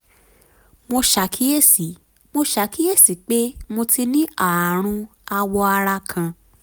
mo ṣàkíyèsí mo ṣàkíyèsí pé mo ti ní ààrùn awọ ara kan